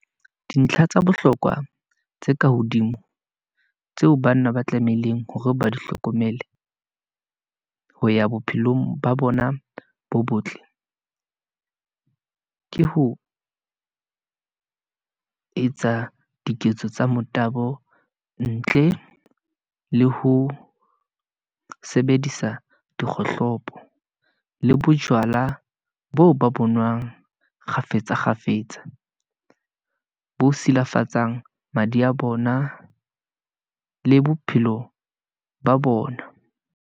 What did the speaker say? Dintlha tsa bohlokwa tse ka hodimo, tseo banna ba tlamehileng hore ba di hlokomele, ho ya bophelong ba bona bo botle , ke ho etsa diketso tsa motabo, ntle le ho sebedisa dikgohlopo, le bojwala boo ba bonwang kgafetsa kgafetsa , bo tshilafatsang madi a bona le bophelo ba bona.